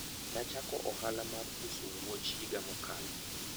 nachako ohala mar uso wuoch higa mokalo